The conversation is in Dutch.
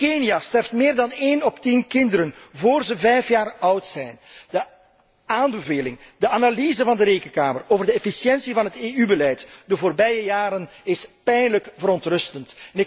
In Kenia sterft meer dan 1 op de 10 kinderen vóór ze vijf jaar oud zijn. De aanbeveling, de analyse van de Rekenkamer over de efficiëntie van het EU beleid in de voorbije jaren is pijnlijk verontrustend.